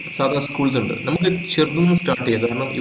സാദാ schools ഇണ്ട് നമ്മക്ക് ചെറുതിന്നു start ചെയ്യാ കാരണം